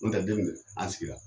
N tɛ a sigira